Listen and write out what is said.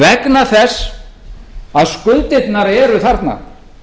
vegna þess að skuldirnar eru þarna